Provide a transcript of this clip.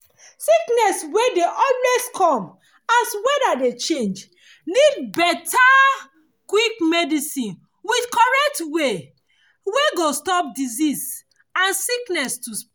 sickness wey dey always dey come as weather dey change need better quick medicine with correct way wey go stop disease and sickness to spread